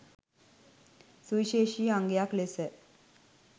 සුවිශේෂී අංගයක් ලෙස